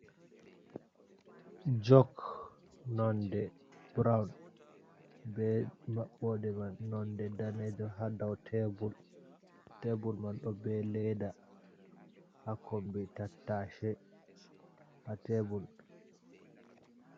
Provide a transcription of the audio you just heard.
Jok nonde brown be mabbode man nonde danejo hadau tebul man do be ledda ha kombi tattashe ha tebul.